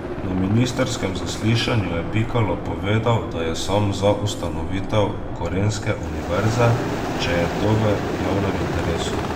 Na ministrskem zaslišanju je Pikalo povedal, da je sam za ustanovitev gorenjske univerze, če je to v javnem interesu.